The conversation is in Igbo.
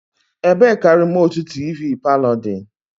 Ebee ka remootu tivii palo dị?